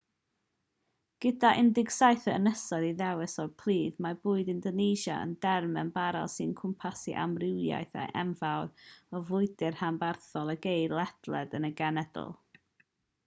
gyda 17,000 o ynysoedd i ddewis o'u plith mae bwyd indonesia yn derm ymbarél sy'n cwmpasu amrywiaeth enfawr o fwydydd rhanbarthol a geir ledled y genedl